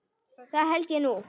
Það held ég nú.